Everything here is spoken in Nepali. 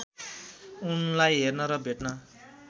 उनलाई हेर्न र भेट्न